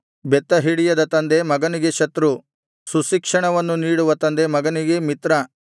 ಬೆತ್ತ ಹಿಡಿಯದ ತಂದೆ ಮಗನಿಗೆ ಶತ್ರು ಸುಶಿಕ್ಷಣವನ್ನು ನೀಡುವ ತಂದೆ ಮಗನಿಗೆ ಮಿತ್ರ